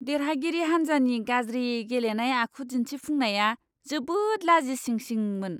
देरहागिरि हान्जानि गाज्रि गेलेनाय आखु दिन्थिफुंनाया जोबोद लाजिसिंसिंमोन!